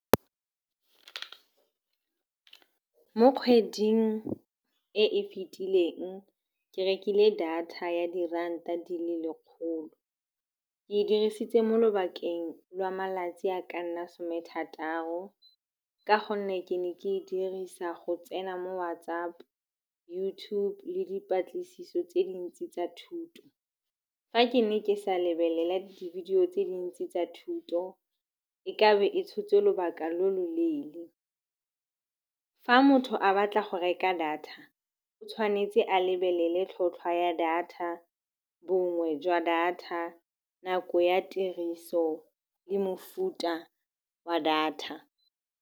Mo kgweding e e fitileng ke rekile data ya diranta di le lekgolo. Ke e dirisitse mo lobakeng lwa malatsi a ka nna somethataro ka gonne ke ne ke e dirisa go tsena mo WhatsApp, YouTube le dipatlisiso tse dintsi tsa thuto. Fa ke ne ke sa lebelela di-video tse dintsi tsa thuto e ka be e tshotse lobaka lo loleele. Fa motho a batla go reka data o tshwanetse a lebelele tlhotlhwa ya data, bongwe jwa data, nako ya tiriso le mofuta wa data.